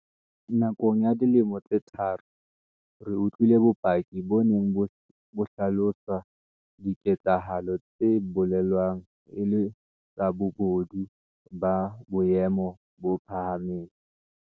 Nakong ya dilemo tse tharo, re utlwile bopaki bo neng bo hlalosa diketsa halo tse belaellwang e le tsa bobodu ba boemo bo phahameng.